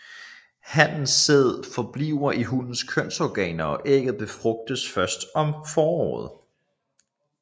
Hannens sæd forbliver i hunnens kønsorganer og ægget befrugtes først om foråret